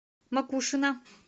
макушино